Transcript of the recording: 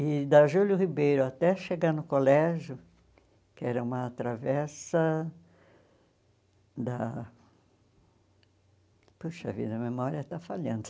E da Júlio Ribeiro até chegar no colégio, que era uma travessa da... Puxa vida, a memória está falhando.